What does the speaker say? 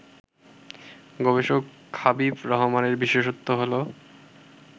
গবেষক হাবিব রহমানের বিশেষত্ব হলো